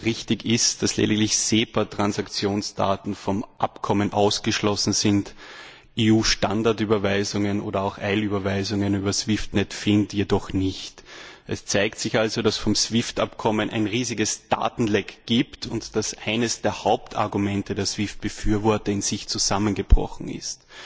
Richtig ist vielmehr, dass lediglich SEPA Transaktionsdaten vom Abkommen ausgeschlossen sind, EU Standardüberweisungen oder auch Eilüberweisungen über SWIFTNet FIN jedoch nicht. Es zeigt sich also, dass es vom SWIFT Abkommen her ein riesiges Datenleck gibt und dass eines der Hauptargumente der SWIFT Befürworter in sich zusammengebrochen ist.